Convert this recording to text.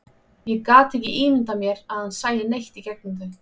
Ég gat ekki ímyndað mér að hann sæi neitt í gegnum þau.